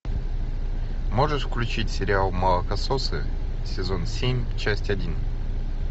можешь включить сериал молокососы сезон семь часть один